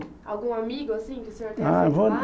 Algum amigo, assim, que o senhor teve lá?